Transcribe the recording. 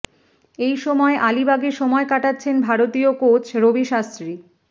এই সময় আলিবাগে সময় কাটাচ্ছেন ভারতীয় কোচ রবি শাস্ত্রী